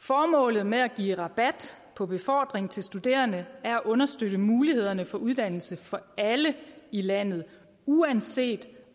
formålet med at give rabat på befordring til studerende er at understøtte muligheden for uddannelse for alle i landet uanset